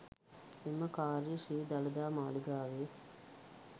එම කාර්ය ශ්‍රී දළදා මාලිගාවේ